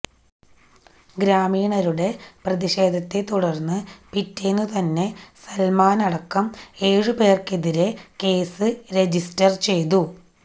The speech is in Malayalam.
ഗ്രാമീണരുടെ പ്രതിഷേധത്തെ തുടർന്നു പിറ്റേന്നുതന്നെ സൽമാനടക്കം ഏഴുപേർക്കെതിരെ കേസ് രജിസ്റ്റർ ചെയ്തു